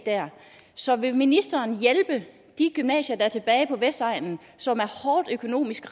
så vil ministeren hjælpe de gymnasier der er tilbage på vestegnen som økonomisk